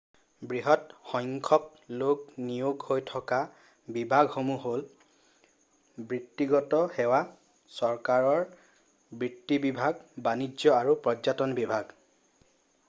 বৃহৎ সংখ্যক লোক নিয়োগ হৈ থকা বিভাগসমূহ হ'ল বৃত্তিগত সেৱা চৰকাৰ বিত্ত বিভাগ বানিজ্য আৰু পৰ্যটন বিভাগ